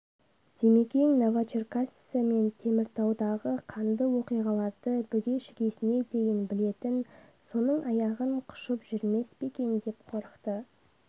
димекең новочеркасскі мен теміртаудағы қанды оқиғаларды бүге-шігесіне дейін білетін соның аяғын құшып жүрмес пе екен деп қорықты